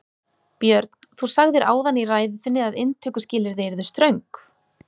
Björn: Þú sagðir áðan í ræðu þinni að inntökuskilyrði yrðu ströng?